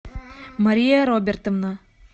мария робертовна